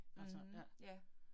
Mh ja